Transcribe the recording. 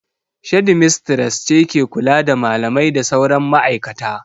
Shedimistres ce ke kula da malamai da sauran ma'aikata.